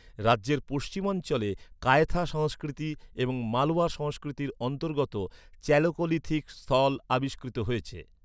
রাজ্যের পশ্চিমাঞ্চলে কায়থা সংস্কৃতি এবং মালওয়া সংস্কৃতির অন্তর্গত চ্যালকোলিথিক স্থল আবিষ্কৃত হয়েছে।